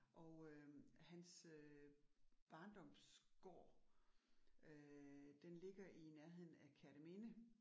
Og øh hans øh barndomsgård øh den ligger i nærheden af Kerteminde